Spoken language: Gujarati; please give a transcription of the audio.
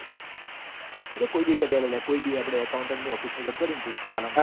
કોઈબી કોઈબીકરી આલ આપડ accounderoffece મો જતો રી તું પાલનપુર